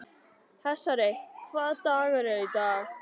Hersir, hvaða dagur er í dag?